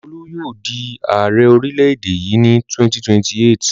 Olú yóò di Ààrẹ orílẹ̀-èdè yìí ní 2028.